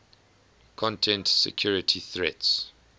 content security threats